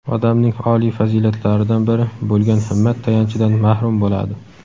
odamning oliy fazilatlaridan biri bo‘lgan himmat tayanchidan mahrum bo‘ladi!.